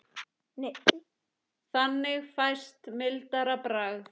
Þannig fæst mildara bragð.